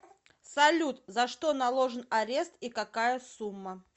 салют за что наложен арест и какая сумма